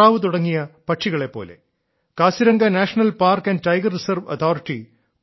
താറാവ് തുടങ്ങിയ പക്ഷികളെ പോലെ Kaziranga National Park and Tiger Reserve authority